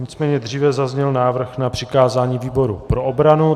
Nicméně dříve zazněl návrh na přikázání výboru pro obranu.